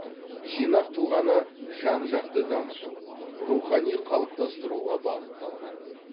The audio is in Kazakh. жинақ тұлғаны жан жақты дамытып рухани қалыптастыруға бағытталған